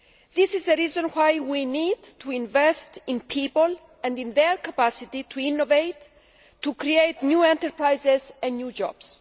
This is the reason why we need to invest in people and in their capacity to innovate, to create new enterprises and new jobs.